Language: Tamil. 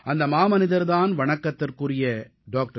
அந்த மாமனிதர் தான் வணக்கத்திற்குரிய டாக்டர்